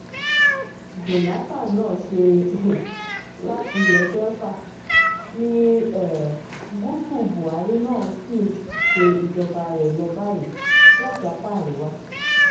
jonathan náà ṣe um láti ilẹ̀ delta ní um gúúsù buhari náà sì ń ṣe ìjọba rẹ̀ lọ báyìí láti apá àríwá